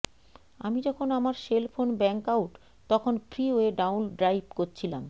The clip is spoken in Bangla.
আমি যখন আমার সেল ফোন ব্যাঙ্গআউট তখন ফ্রীওয়ে ডাউন ড্রাইভ করছিলাম